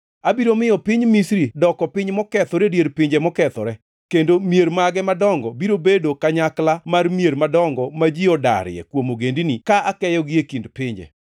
Abiro miyo piny Misri doko piny mokethore e dier pinje mokethore, kendo mier mage madongo biro bedo kanyakla mar mier madongo ma ji odarie kuom ogendini, ka akeyogi e kind pinje.